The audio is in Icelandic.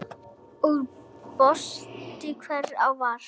Ég brosti, hvort ég var!